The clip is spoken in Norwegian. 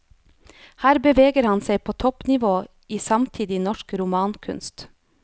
Her beveger han seg på toppnivå i samtidig norsk romankunst.